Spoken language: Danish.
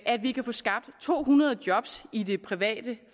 at vi kan få skabt tohundredetusind job i det private